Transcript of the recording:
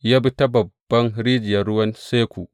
Ya bi ta babban rijiyar ruwan Seku.